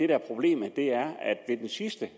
er problemet er at ved den sidste